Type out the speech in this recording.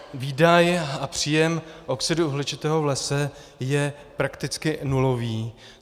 Výdaj a příjem oxidu uhličitého v lese je prakticky nulový.